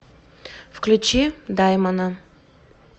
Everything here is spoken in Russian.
включи даймона